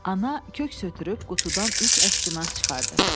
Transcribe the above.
Ana köks ötürüb qutudan üç əskinas çıxardı.